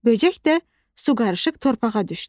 Böcək də su qarışıq torpağa düşdü.